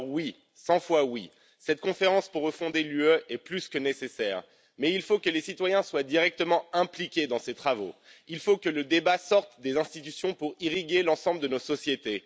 Alors oui, 100 fois oui, cette conférence pour refonder l'Union européenne est plus que nécessaire, mais il faut que les citoyens soient directement impliqués dans ces travaux, il faut que le débat sorte des institutions pour irriguer l'ensemble de nos sociétés.